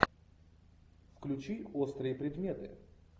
включи острые предметы